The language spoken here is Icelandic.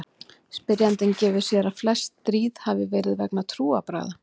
Spyrjandi gefur sér að flest stríð heimsins hafi verið vegna trúarbragða.